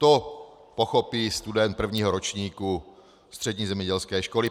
To pochopí student prvního ročníku střední zemědělské školy.